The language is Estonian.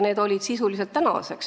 Need on kehtinud sisuliselt siiani.